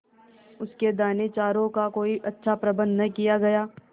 उसके दानेचारे का कोई अच्छा प्रबंध न किया गया